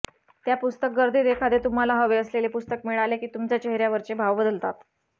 त्या पुस्तक गर्दीत एखादे तुम्हाला हवे असलेले पुस्तक मिळाले की तुमच्या चेहर्यावरचे भाव बदलतात